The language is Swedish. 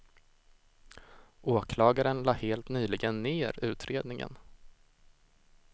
Åklagaren lade helt nyligen ner utredningen.